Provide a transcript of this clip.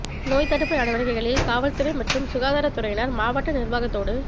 நோய் தடுப்பு நடவடிக்கைகளில் காவல் துறை மற்றும் சுகாதார துறையினர் மாவட்ட நிர்வாகத்தோடு